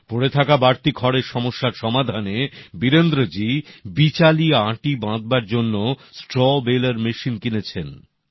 পড়ে থাকা বাড়তি খড়ের সমস্যার সমাধানে বীরেন্দ্রজী বিচালি আটি বাঁধার জন্য স্ট্র বেলার মেশিন কিনেছেন